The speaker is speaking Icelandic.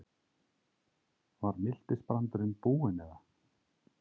Var miltisbrandurinn búinn eða?